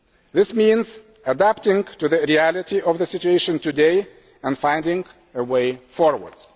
This means adapting to the reality of the situation today, and finding a way forward.